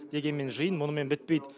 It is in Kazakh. дегенмен жиын мұнымен бітпейді